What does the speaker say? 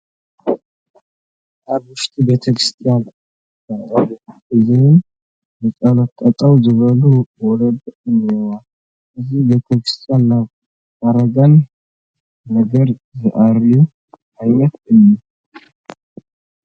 ኣብ ውሽጢ ቤተ ክርስቲያን መቖሚያ ሒዘን ንፀሎት ጠጠው ዝበላ ወለዲ እኔዋ፡፡ እዚ ቤተ ክርስቲያን ናይ እርጋን ነገር ዝርአዮ ዓይነት እዩ፡፡